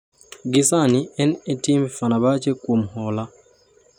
Gi sani en e timb Fenerbache kuom hola